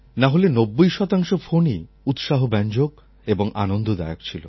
নাহলে নব্বই শতাংশ ফোনই উৎসাহব্যঞ্জক এবং আনন্দদায়ক ছিল